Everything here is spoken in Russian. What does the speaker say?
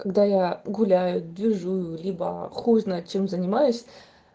когда я гуляю движую либо хуй знает чем занимаюсь